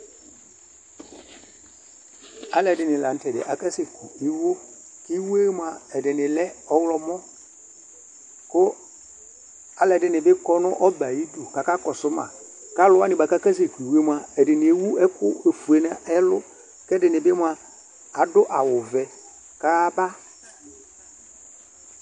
Alʋɛdini lanʋtɛ akasɛkʋ iwo, kʋ iwo yɛ mʋa ɛdini lɛ ɔwlɔmɔ, kʋ alʋɛdini bi kɔnʋ ɔbɛ ayidʋ kʋ akakɔsʋ ma, alʋwani kʋ akasɛkʋ iwo yɛ mʋa ɛdini ewʋ ɛkʋ ofue nʋ ɛlʋ, kʋ ɛdini bi mʋa adʋ awʋvɛ, kʋ ayaba.